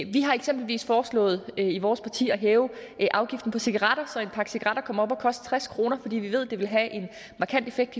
vi har eksempelvis foreslået i vores parti at hæve afgiften på cigaretter så en pakke cigaretter kommer op på at koste tres kr fordi vi ved at det vil have en markant effekt